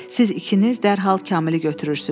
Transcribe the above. Siz ikiniz dərhal Kamili götürürsünüz.